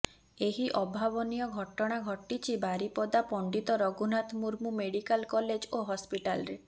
ଏହି ଅଭାବନୀୟ ଘଟଣା ଘଟିଛି ବାରିପଦା ପଣ୍ଡିତ ରଘୁନାଥ ମୁର୍ମୁ ମେଡିକାଲ କଲେଜ ଓ ହସ୍ପିଟାଲରେ